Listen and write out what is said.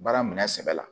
Baara minɛ sɛbɛ la